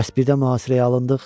Bəs birdən mühasirəyə alındıq?